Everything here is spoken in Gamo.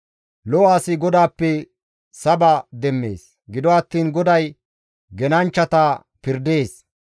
Lo7o asi GODAAPPE saba demmees; gido attiin GODAY genanchchata pirdees.